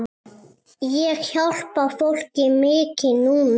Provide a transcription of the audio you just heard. Ég hjálpa fólki mikið núna.